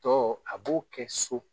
Tɔ a b'o kɛ so.